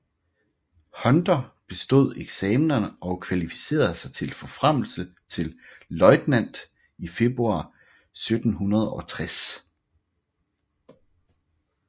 Hunter bestod eksamener og kvalificerede sig til forfremmelse til løjtnant i februar 1760